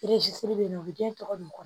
bɛ yen nɔ u bɛ den tɔgɔ dun